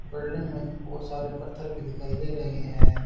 Building में बहोत सारे पत्थर भी दिखाई दे रहे हैं।